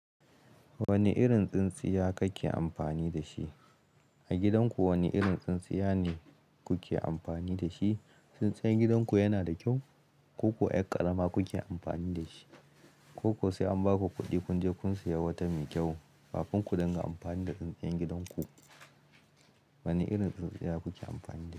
Wani irin tsintsiya kake amfani da shi? A gidanku wane irin tsintsiya ne kuke amfani da shi? Tsintsiyan gidanku yana da kyau? Ko kuwa ƴar ƙarama kuke amfani da shi? Ko kuwa sai an ba ku kuɗi kun je kun siya wata mai kyau kafin ku dinga amfani da tsintsiyan gidanku. Wane irin tsintsiya kuke amfani da shi?